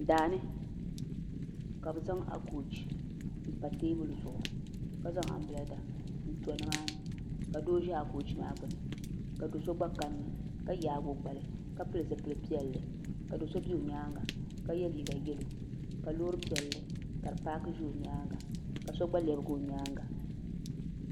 Daani ka bi zaŋ akooch n pa teebuli zuɣu ka zaŋ anbirɛla n to nimaani ka doo ʒɛ akoch maa gbuni ka do so gba kanna ka yaagi o gbali ka pili zipili piɛlli ka do so bɛ o nyaanga ka yɛ liiga yɛlo ka loori piɛlli ka di paaki ʒɛ o nyaanga ka so gba lɛbigi o nyaanga